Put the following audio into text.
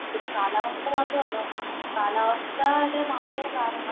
ഇതിനു കാലാവസ്ഥ മാത്രമല്ല. കാലാവസ്ഥയുടെ മാറ്റം കാരണം